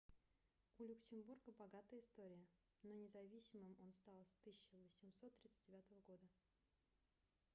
у люксембурга богатая история но независимым он стал в 1839 году